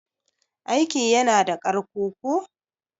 aiki yana da ƙarko ko?